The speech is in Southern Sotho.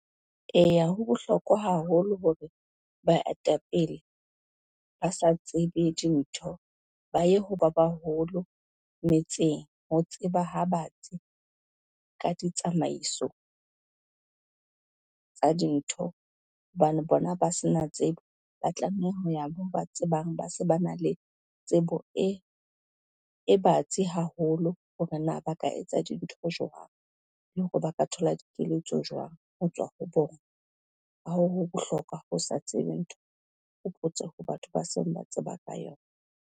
Eya, ho bohlokwa haholo hore baetapele ba sa tsebe dintho ba ye ho ba baholo metseng, ho tseba ha batsi ka ditsamaiso, tsa dintho hobane bona ba se na tsebo, ba tlameha ho ya moo ba tsebang ba se ba na le tsebo e batsi haholo hore na ba ba ka etsa dintho jwang. Le hore ba ka thola dikeletso jwang ho tswa ho bona, ha ho bohlokwa ho sa tsebe ntho o botse ho batho ba seng ba tseba ka yona.